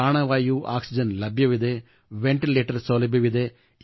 Pranavayu oxygen ಲಭ್ಯವಿದೆ ventilator ಸೌಲಭ್ಯವಿದೆ